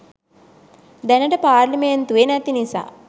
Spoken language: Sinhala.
දැනට පාර්ලිමෙන්තුවේ නැති නිසා